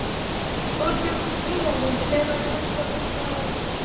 Þorbjörn Þórðarson: Hvenær heldurðu að það verði?